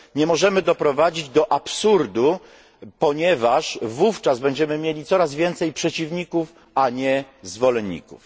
Nie możemy doprowadzić do absurdu, ponieważ wówczas będziemy mieli coraz więcej przeciwników, a nie zwolenników.